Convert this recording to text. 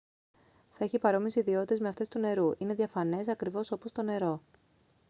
θα έχει παρόμοιες ιδιότητες με αυτές του νερού είναι διαφανές ακριβώς όπως το νερό